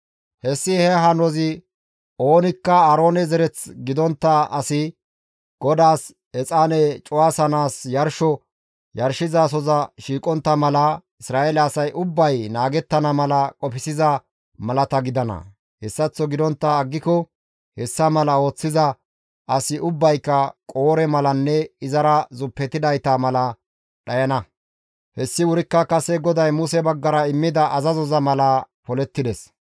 Hessi he hanozi oonikka Aaroone zereth gidontta asi GODAAS exaane cuwasanaas yarsho yarshizasoza shiiqontta mala Isra7eele asay ubbay naagettana mala qofsiza malata gidana; hessaththo gidontta aggiko hessa mala ooththiza asi ubbayka Qoore malanne izara zuppetidayta mala dhayana; hayssi wurikka kase GODAY Muse baggara immida azazoza mala polettides.